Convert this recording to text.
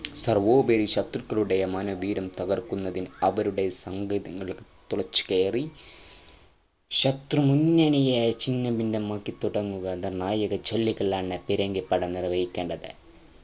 സർവോപരി ശത്രുക്കളുടെ മനോവീര്യം തകർക്കുന്നതിന് അവരുടെ സാങ്കേതികളിലേക് തുളച്ചുകേറി ശത്രു മുന്നണിയെ ഛിന്നഭിന്നമാക്ക തുടങ്ങുക നിർണായക ജോലികളാണ് പീരങ്കിപ്പട നിർവഹിക്കേണ്ടത്